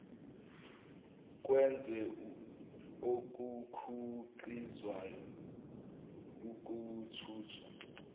kwezwe okukhiqizwayo ukuthuthwa